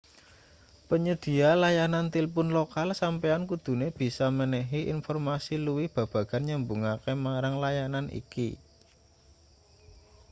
panyedhiya layanan tilpun lokal sampeyan kudune bisa menehi informasi luwih babagan nyambungake marang layanan iki